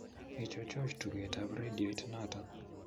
Ichuchuch tugetab rediot noto